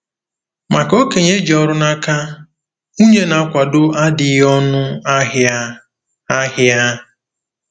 Maka okenye ji ọrụ n'aka, nwunye na-akwado adịghị ọnụ ahịa! ahịa!